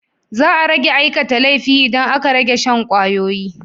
Za a rage aikata laifi idan aka rage shan ƙwayoyi.